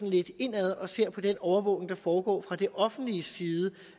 lidt indad og ser på den overvågning der foregår fra det offentliges side